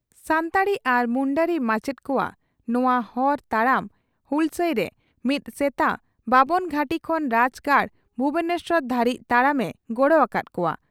᱾ᱥᱟᱱᱛᱟᱲᱤ ᱟᱨ ᱢᱩᱱᱰᱟᱹᱨᱤ ᱢᱟᱪᱮᱛ ᱠᱚᱣᱟᱜ ᱱᱚᱣᱟ ᱦᱚᱨ ᱛᱟᱲᱟᱢ ᱦᱩᱞᱥᱟᱹᱭᱨᱮ ᱢᱤᱫ ᱥᱮᱛᱟ ᱵᱟᱵᱚᱱ ᱜᱷᱟᱹᱴᱤ ᱠᱷᱚᱱ ᱨᱟᱡᱽᱜᱟᱲ ᱵᱷᱩᱵᱚᱱᱮᱥᱚᱨ ᱫᱷᱟᱹᱨᱤᱡ ᱛᱟᱲᱟᱢ ᱮ ᱜᱚᱲᱚ ᱟᱠᱟᱫ ᱠᱚᱜᱼᱟ ᱾